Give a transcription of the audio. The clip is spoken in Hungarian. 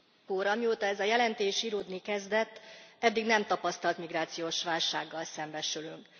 Elnök Úr! Amióta ez a jelentés íródni kezdett, eddig nem tapasztalt migrációs válsággal szembesülünk.